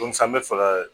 an bɛ fɛ ka